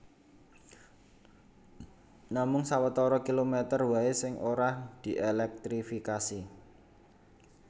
Namung sawetara kilomèter waé sing ora dièlèktrifikasi